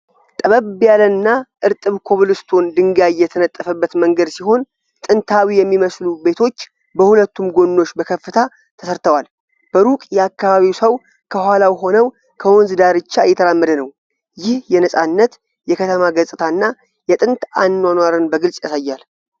ጠበብ ያለና እርጥብ ኮብል ስቶን ድንጋይ የተነጠፈበት መንገድ ሲሆን፣ ጥንታዊ የሚመስሉ ቤቶች በሁለቱም ጎኖች በከፍታ ተሰርተዋል። በሩቅ የአካባቢው ሰው ከኋላው ሆነው ከወንዝ ዳርቻ እየተራመደ ነው። ይህ የነፃነት፣ የከተማ ገጽታና የጥንት አኗኗርን በግልጽ ያሳያል።